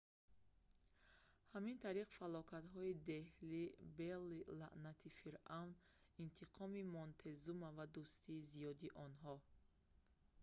ҳамин тариқ фалокатҳои деҳлӣ белли лаънати фиръавн интиқоми монтезума ва дӯстони зиёди онҳо